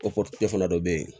O fana dɔ bɛ yen